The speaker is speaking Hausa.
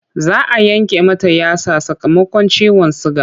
Za a yanke mata yatsa sakamakon ciwon suga.